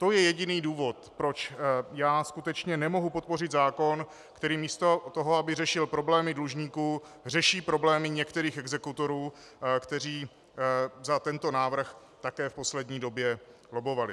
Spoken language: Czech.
To je jediný důvod, proč já skutečně nemohu podpořit zákon, který místo toho, aby řešil problémy dlužníků, řeší problémy některých exekutorů, kteří za tento návrh také v poslední době lobbovali.